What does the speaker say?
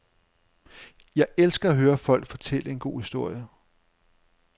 Jeg elsker at høre folk fortælle en god historie.